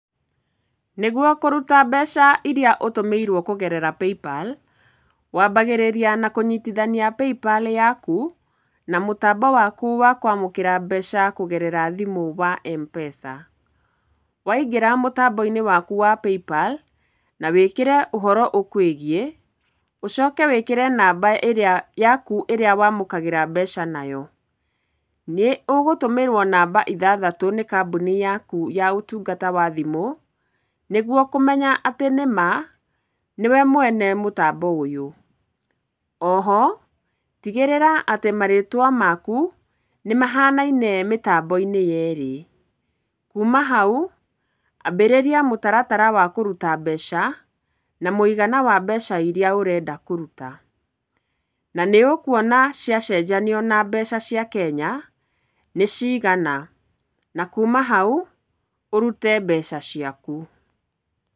Nĩgwo kũruta mbeca iria ũtumĩirwo kũgerera PayPal, wambagĩrĩra na kũnyitithania PayPal yaku na mũtambo waku wa kwamũkĩra mbeca kũgerera thimũ wa Mpesa. Waingĩra mũtambo-inĩ waku wa PayPal na wĩkĩre ũhoro ũkwĩgiĩ, ũcoke wĩkĩre namba ĩrĩa, yaku ĩrĩa wamũkagĩra mbeca nayo. Nĩ ũgũtũmĩrwo namba ithathatũ nĩ kambuni yaku ya ũtungata wa thimũ, nĩgwo kũmenya atĩ nĩma nĩwe mwene mũtambo ũyũ. Oho, tigĩrĩra atĩ marĩtwa maku, nĩmahanaine mĩtambo-inĩ yeerĩ. Kuuma hau, ambĩrĩria mũtaratara wa kũruta mbeca na mũigana wa mbeca iria ũrenda kũruta. Na nĩũkũona ciacenjanio na mbeca cia Kenya nĩ cigana. Na kuuma hau, ũrute mbeca ciaku.